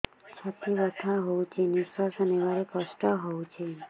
ଛାତି ବଥା ହଉଚି ନିଶ୍ୱାସ ନେବାରେ କଷ୍ଟ ହଉଚି